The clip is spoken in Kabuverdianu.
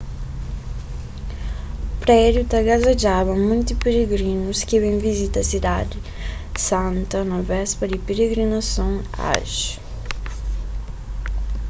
prédiu ta gazadjaba monti pirigrinus ki ben vizita sidadi santa na béspa di pirigrinason hajj